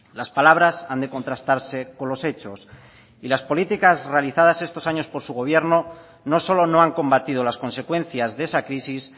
las palabras han de contrastarse con los hechos las políticas realizadas estos años por su gobierno no solo no han combatido las consecuencias de esa crisis